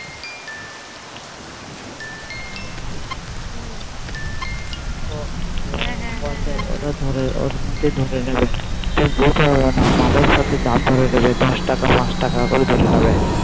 হু হ্যাঁ ওর মধ্যেই ধরে নেবে দশ টাকা পাঁচ টাকা করে ধরে নেবে